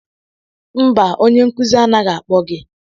Mba onye nkuzi anaghị akpọ gị.